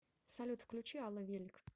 салют включи алла велик